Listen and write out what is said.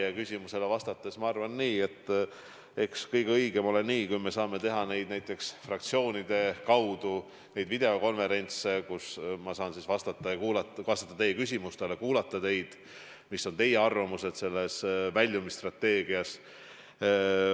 Teie küsimusele vastates ma arvan nii, et eks kõige õigem ole nii, kui me saame teha näiteks fraktsioonidega videokonverentse, kus ma saan vastata teie küsimustele ja kuulata, mis on teie arvamused seoses väljumisstrateegiaga.